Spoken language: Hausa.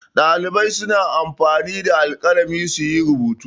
Ɗalibai suna anfani da alƙalami su yi rubutu.